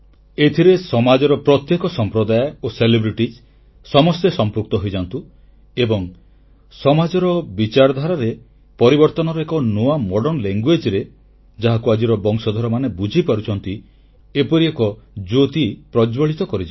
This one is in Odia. ଏଥିରେ ସମାଜର ପ୍ରତ୍ୟେକ ସମ୍ପ୍ରଦାୟ ଓ ଖ୍ୟାତନାମା ବ୍ୟକ୍ତିବିଶେଷ ସମସ୍ତେ ସମ୍ପୃକ୍ତ ହୋଇଯାଆନ୍ତୁ ଏବଂ ସମାଜର ବିଚାରାଧାରରେ ପରିବର୍ତ୍ତନର ଏକ ନୂଆ ପରିଭାଷାରେ ଯାହାକୁ ଆଜିର ବଂଶଧରମାନେ ବୁଝିପାରୁଛନ୍ତି ଏପରି ଏକ ଜ୍ୟୋତି ପ୍ରଜ୍ୱଳିତ କରିଯାଉ